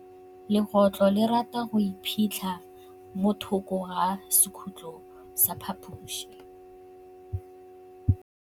Legôtlô le rata go iphitlha mo thokô ga sekhutlo sa phaposi.